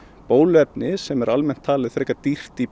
bóluefni sem er almennt talið frekar dýrt í